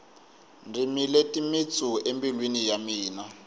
dzimile timitsu embilwini ya mina